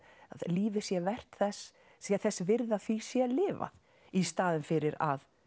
lífið sé vert þess sé þess virði að því sé lifað í staðinn fyrir að